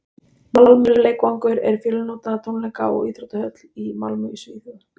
malmö leikvangur er fjölnota tónleika og íþróttahöll í malmö í svíþjóð